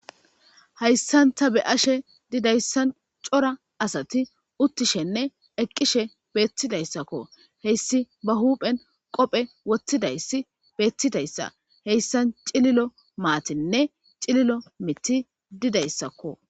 hayssanta be ashe didayssan cora asati uttishenne eqqishe beettidayssakko heyssi ba huuphen qophe wottidayssi beettidayssa heyssan cililo maatinne cililo mitti didayssakko